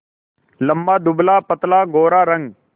लंबा दुबलापतला गोरा रंग